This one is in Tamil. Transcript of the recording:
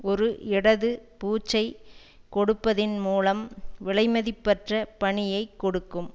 ஒரு இடது பூச்சை கொடுப்பதின் மூலம் விலை மதிப்பற்ற பணியை கொடுக்கும்